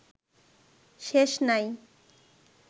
শেষ নাই